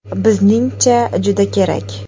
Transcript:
Bizningcha, juda kerak.